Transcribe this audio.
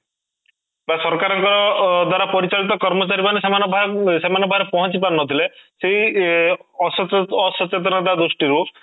ବା ସରକାର ଙ୍କ ଅଂ ବା ପରିଚାଳିତ କର୍ମଚାରୀ ମାନେ ସେମାନଙ୍କ ସେମାନଙ୍କର ପାଖରେ ପହଞ୍ଚି ପାରୁନଥିଲେ ସେଇ ଇ ଅସଚେତନା ଦୃଷ୍ଟି ରୁ